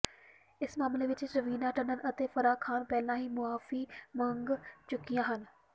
ਇਸ ਮਾਮਲੇ ਵਿੱਚ ਰਵੀਨਾ ਟੰਡਨ ਅਤੇ ਫਰਾਹ ਖਾਨ ਪਹਿਲਾਂ ਹੀ ਮੁਆਫੀ ਮੰਗ ਚੁੱਕੀਆਂ ਹਨ